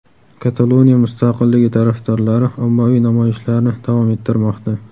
Kataloniya mustaqilligi tarafdorlari ommaviy namoyishlarni davom ettirmoqda.